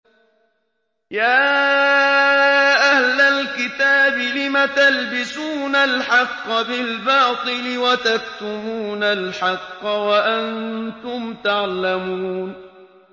يَا أَهْلَ الْكِتَابِ لِمَ تَلْبِسُونَ الْحَقَّ بِالْبَاطِلِ وَتَكْتُمُونَ الْحَقَّ وَأَنتُمْ تَعْلَمُونَ